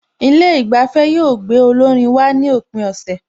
Ilé ìgbafẹ́ yóò gbé olórin wá ní òpin ọ̀sẹ̀